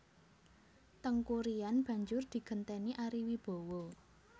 Teuku Ryan banjur digenténi Ari Wibowo